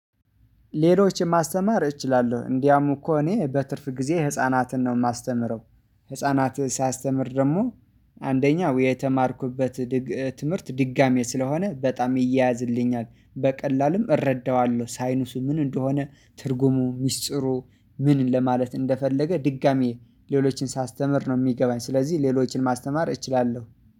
ሌሎች ማስተማር እችላለሁ እንዲያውም እኮ እኔ በትርፍ ጊዜ ህፃናትን ነው የማስተምረው። ህፃናትህ ደግሞ አንደኛው የተማርኩበት። ትምህርት ድጋሚ ስለሆነ በጣም ይያያዝልኛል በቀላሉም እረዳዋለሁ ሳይኑሱ ምን እንደሆነ ትርጉሙ ሚስጥሩ ምን ለማለት እንደፈለገ ድጋሚ ሌሎችን ሳስተምር ነው የሚገባኝ። ስለዚህ ሌሎችን ማስተማር እችላለሁ